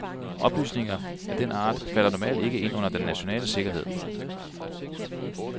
Oplysninger af den art falder normalt ikke ind under den nationale sikkerhed.